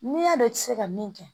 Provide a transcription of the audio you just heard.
N'i y'a dɔn i ti se ka min kɛ